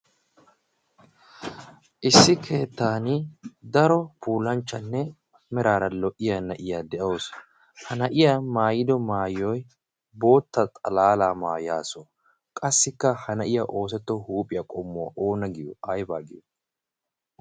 issi keettan daro puulanchchanne meraara lo''iya na'iyaa de'ausu ha na'iya maayido maayoy bootta xalaala maayaasu qassikka ha na'iya oosetto huuphiyaa qommuwaa oona giyo aybaa giyo